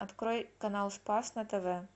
открой канал спас на тв